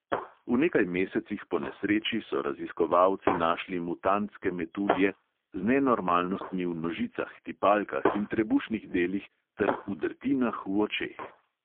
V nekaj mesecih po nesreči so raziskovalci našli mutantske metulje – z nenormalnostmi v nožicah, tipalkah in trebušnih delih ter udrtinah v očeh.